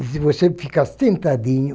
E se você ficar sentadinho,